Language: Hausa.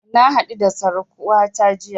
Na haɗu da surukata jiya